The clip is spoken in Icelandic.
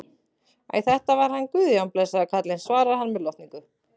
Æ, þetta var hann Guðjón, blessaður karlinn, svarar hann með lotningu.